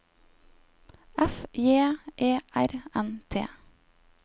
F J E R N T